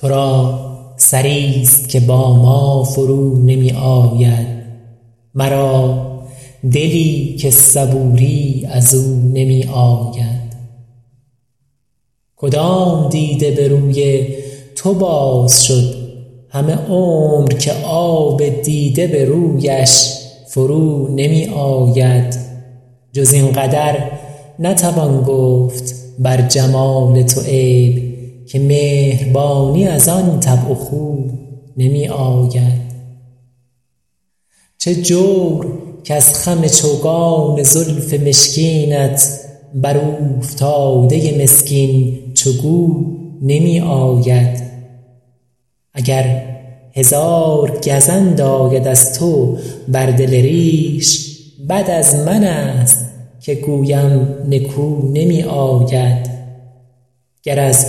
تو را سری ست که با ما فرو نمی آید مرا دلی که صبوری از او نمی آید کدام دیده به روی تو باز شد همه عمر که آب دیده به رویش فرو نمی آید جز این قدر نتوان گفت بر جمال تو عیب که مهربانی از آن طبع و خو نمی آید چه جور کز خم چوگان زلف مشکینت بر اوفتاده مسکین چو گو نمی آید اگر هزار گزند آید از تو بر دل ریش بد از من ست که گویم نکو نمی آید گر از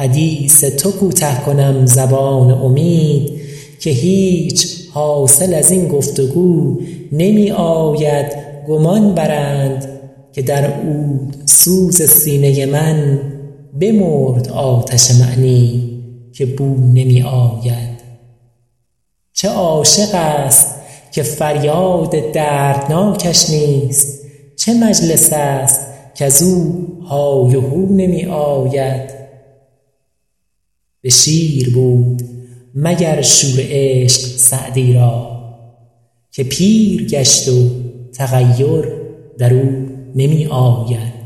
حدیث تو کوته کنم زبان امید که هیچ حاصل از این گفت وگو نمی آید گمان برند که در عودسوز سینه من بمرد آتش معنی که بو نمی آید چه عاشق ست که فریاد دردناکش نیست چه مجلس ست کز او های و هو نمی آید به شیر بود مگر شور عشق سعدی را که پیر گشت و تغیر در او نمی آید